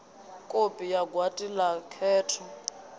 kopi ya gwati la khetho